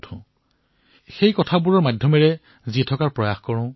কেতিয়াবা কেতিয়াবা সেই ভাৱনাসমূহৰ সৈতে জীয়াই থকাৰ প্ৰয়াস কৰো